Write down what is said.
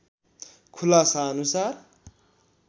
खुलासा अनुसार